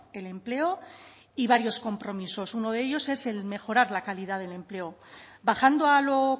el empleo y varios compromisos uno de ellos es el mejorar la calidad del empleo bajando a lo